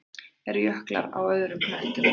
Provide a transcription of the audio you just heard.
Eru jöklar á öðrum hnöttum?